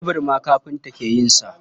Tebur ma kafinta ke yin sa.